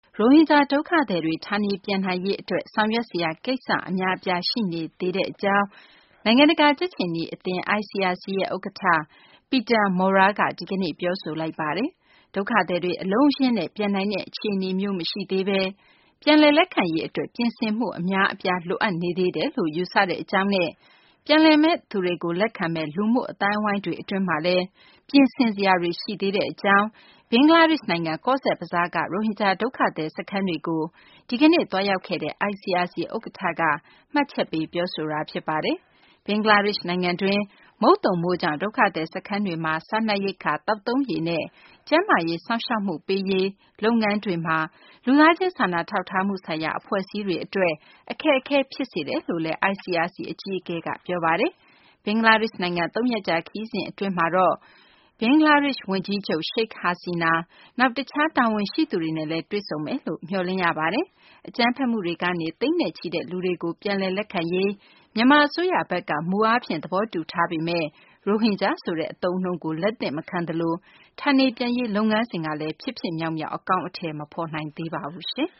ရိုဟင်ဂျာ ဒုက္ခသည်တွေ ဌာနေပြန်နိုင်ရေး အတွက် ဆောင်ရွက်စရာ ကိစ္စ အများအပြား ရှိနေသေးကြောင်း နိုင်ငံတကာ ကြက်ခြေနီ အသင်း ICRC ဥက္ကဌ Peter Maurer က ဒီကနေ့ ပြောဆိုလိုက်ပါတယ်။ ဒုက္ခသည်တွေ အလုံးအရင်းနဲ့ ပြန်နိုင်တဲ့ အခြေအနေမျိုး မရှိသေးဘဲ ပြန်လည် လက်ခံရေး အတွက် ပြင်ဆင်မှု အများအပြားလိုအပ်နေသေးတယ်လို့ ယူဆတဲ့ အကြောင်းနဲ့ ပြန်လာမယ့်သူတွေကို လက်ခံမယ့် လူမှုအသိုင်းအဝိုင်းတွေ အတွင်းမှာလည်း ပြင်ဆင် ဆောင်ရွက်စရာတွေ ရှိနေသေးကြောင်း ဘင်္ဂလားဒေရှ့်နိုင်ငံ ကောဇ့်ဘဇားက ရိုဟင်ဂျာ ဒုက္ခသည် စခန်းတွေကို ဒီကနေ့ သွာေးရာက်ခဲ့တဲ့ ICRC ဥက္ကဌက အခုလို မှတ်ချက်ပေး ပြောဆိုသွားတာ ဖြစ်ပါတယ်။ ဘင်္ဂလားဒေရှ့် နိုင်ငံတွင်း မုတ်သုံမိုးကြောင့် ဒုက္ခသည် စခန်းတွေ အတွင်း စားနပ်ရိက္ခာ၊ သောက်သုံးရေနဲ့ ကျန်းမာရေး စောင့်ရှောက်မှုတွေ ပေးရေး လုပ်ငန်းတွေမှာ လူသားချင်း စာနာထောက်ထားမှု ဆိုင်ရာ အဖွဲ့အစည်းတွေ အတွက် အခက်အခဲ ဖြစ်စေတယ်လို့လည်း ICRC အကြီးအကဲက ပြောဆိုခဲ့ပါတယ်။ ဘင်္ဂလားဒေရှ့် နိုင်ငံကို သုံးရက်ကြာ ခရီးစဉ် အဖြစ် ရောက်ရှိနေတဲ့ ICRC အကြီးအကဲက ဘင်္ဂလားဒေရှ့် ဝန်ကြီးချုပ် Sheikh Hasian ၊ နောက် တခြား တာဝန်ရှိသူတွေနဲ့လည်း တွေ့ဆုံမယ်လို့မျှော်လင့် ရပါတယ်။ အကြမ်းဖက်မှုတွေကနေ သိန်းနဲ့ချီတဲ့ လူတွေကို ပြန်လည် လက်ခံရေး မြန်မာ အစိုးရဘက်က မူအားဖြင့် သဘောတူထားပေမယ့် ရိုဟင်ဂျာ ဆိုတဲ့ အသုံးအနှုန်းကို လက်သင့်မခံသလို ဌာနေပြန်ရေး လုပ်ငန်းစဉ်ကလည်း ဖြစ်ဖြစ်မြောက်မြောက် အကောင်အထည် မဖော်နိုင်သေးပါဘူး။